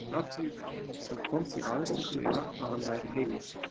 En athugið vel: Hann kom því aðeins til dyra að hann væri heima.